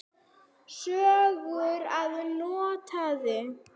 Sögur að norðan.